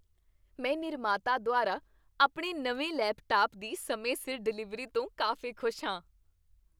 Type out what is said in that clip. ਮੈਂ ਨਿਰਮਾਤਾ ਦੁਆਰਾ ਆਪਣੇ ਨਵੇਂ ਲੈਪਟਾਪ ਦੀ ਸਮੇਂ ਸਿਰ ਡਿਲੀਵਰੀ ਤੋਂ ਕਾਫ਼ੀ ਖੁਸ਼ ਹਾਂ।